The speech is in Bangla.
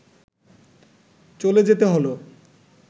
চলে যেতে হলো